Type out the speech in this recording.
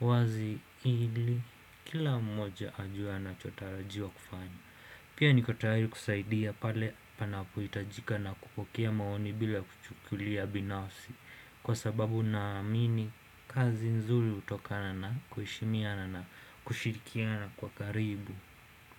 wazi ili kila mmoja ajue anachotarajiwa kufanya. Pia niko tayari kusaidia pale panapohitajika na kupokea maoni bila kuchukulia binafsi kwa sababu naamini kazi nzuri hutokana na kuheshimiana na kushirikiana kwa karibu.